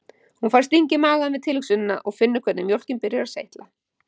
Hún fær sting í magann við tilhugsunina og finnur hvernig mjólkin byrjar að seytla